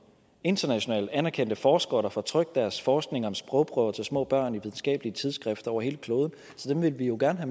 internationalt anerkendte forskere der får trykt deres forskning om sprogprøver til små børn i videnskabelige tidsskrifter over hele kloden så dem vil vi jo gerne